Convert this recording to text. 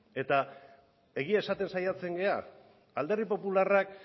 eta egia esaten saiatzen gara alderdi popularrak